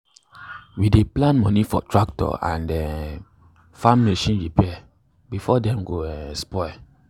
we dey plan money for tractor and um farm machine repair before dem go um spoil.